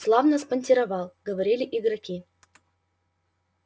славно спонтировал говорили игроки